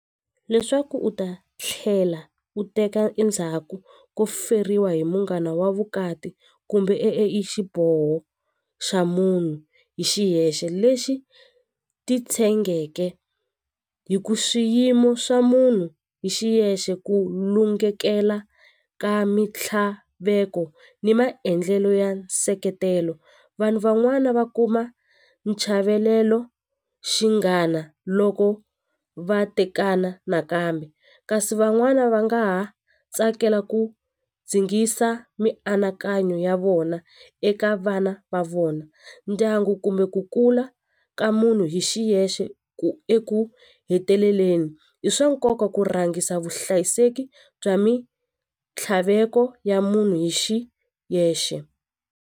Leswaku u ta tlhela u teka endzhaku ko feriwa hi munghana wa vukati kumbe i xiboho xa munhu hi xihexe lexi titshengeke hi ku swiyimo swa munhu hi xiyexe ku lungekela ka mitlhaveko ni maendlelo ya nseketelo vanhu van'wana va kuma nchavelelo xinghana loko va tekana nakambe kasi van'wana va nga ha tsakela ku dzingisa mianakanyo ya vona eka vana va vona ndyangu kumbe ku kula ka munhu hi xiyexe ku eku heteleleni i swa nkoka ku rhangisa vuhlayiseki bya mintlhaveko ya munhu hi xiyexe.